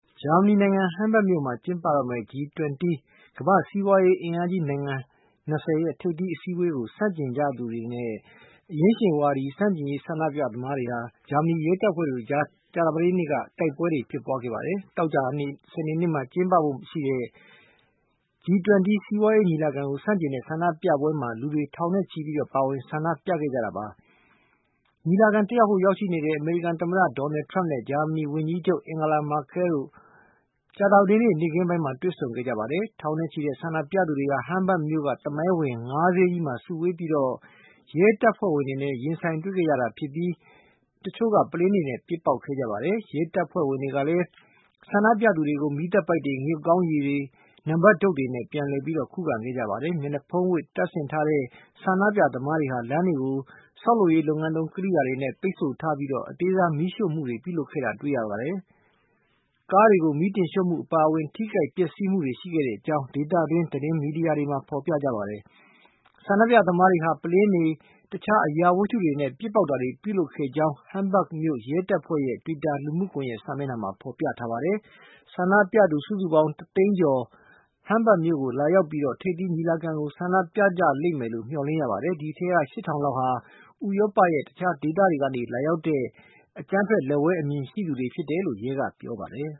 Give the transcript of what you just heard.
ဂျာမနီနိုင်ငံ Hamburg မြို့မှာ ကျင်းပတော့မယ့် G20 ကမ္ဘာ့ စီးပွားရေး အင်အားကြီးနိုင်ငံ ၂၀ ထိပ်သီး အစည်းအဝေးကို ဆန့်ကျင်ချီတက်ကြသူ အရင်းရှင်ဝါဒီ ဆန့်ကျင်ရေး ဆန္ဒပြသမားတွေနဲ့ ဂျာမနီရဲတပ်ဖွဲ့တို့ကြား ကြာသပတေးနေ့က တိုက်ခိုက်မှုတွေ ဖြစ်ပွားခဲ့ပါတယ်။ သောကြာနဲ့ စနေနေ့တွေမှာ ကျင်းပဖို့ရှိတဲ့ G-20 စီးပွားရေးညီလာကို ဆန့်ကျင်တဲ့ ဆန္ဒပြပွဲမှာ လူတွေ ထောင်နဲ့ချီပြီး ပါဝင်ဆန္ဒပြခဲ့ကြပါတယ်။ ညီလာခံ တက်ဖို့ ရောက်ရှိနေတဲ့ အမေရိကန် သမ္မတ Donald Trump နဲ့ ဂျာမနီ ဝန်ကြီးချုပ် Angela Merkel တို့ ကြာသာပတေးနေ့ နေ့ခင်းပိုင်းမှာ တွေ့ဆုံခဲ့ကြပါတယ်။ ထောင်နဲ့ချီတဲ့ ဆန္ဒပြသူတွေဟာ Hamburg မြို့က သမိုင်းဝင် ငါးဈေးကြီးမှာ စုဝေးကြကာ ရဲတပ်ဖွဲ့ဝင်တွေနဲ့ ရင်ဆိုင်တွေ့ခဲ့ကြပြီး တချို့က ပုလင်းတွေနဲ့ ပစ်ပေါက်ခဲ့ကြပါတယ်။ ရဲတပ်ဖွဲ့ဝင်တွေကလည်း ဆန္ဒပြသူတွေကို မီးသတ်ပိုက်တွေ၊ ငရုတ်ကောင်းရည်တွေ၊ နံပတ်တုတ်တွေနဲ့ ပြန်ခုခံခဲ့ကြပါတယ်။ မျက်နှာဖုံးတွေ တတ်ဆင်ထားတဲ့ ဆန္ဒပြသမားတွေဟာ လမ်းတွေကို ဆောက်လုပ်ရေး လုပ်ငန်းသုံး ကရိယာတွေနဲ့ ပိတ်ဆို့ထားပြီး အသေးစားမီးရှို့မှုတွေ ပြုလုပ်ခဲ့တာကိုတွေ့ရပါတယ်။ ကားတွေကို မီးတင်ရှို့မှုအပါအဝင် ထိခိုက်ပျက်စီး မှုတွေ ရှိခဲ့ကြောင်း ဒေသတွင်း သတင်းမီဒီယာတွေမှာ ဖေါ်ပြကြပါတယ်။ ဆန္ဒပြသမားတွေဟာ ပုလင်းတွေ တခြားအရာဝတ္ထုတွေနဲ့ ပစ်ပေါက်တာတွေ ပြုလုပ်ခဲ့ကြောင်း Hamburg ရဲတပ်ဖွဲ့ရဲ့ တွီတာလူမှုကွန်ယက်မှာ ဖေါ်ပြထားပါတယ်။ ဆန္ဒပြသူ စုစုပေါင်း တသိန်းကျော် Hamburg မြို့ကို လာရောက်ပြီး ထိပ်သီးညီလာခံကို ဆန္ဒပြ ကြလိမ့်မယ်လို့ မျှော်လင့်ရပါတယ်။ ဒီအထဲက ရှစ်ထောင်လောက်ဟာ ဥရောပရဲ့ တခြားဒေသတွေကနေ လာရောက်ကြတဲ့ အကြမ်းဖက် လက်ဝဲ အမြင်ရှိသူတွေဖြစ်တယ်လို့ ရဲကပြောပါတယ်